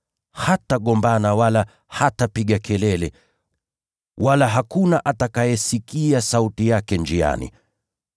Hatagombana wala hatapiga kelele, wala hakuna atakayesikia sauti yake njiani.